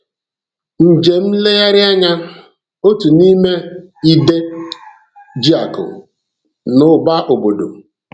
Njem nlegharị anya - otu n'ime m idé ji akụ na ụba obodo.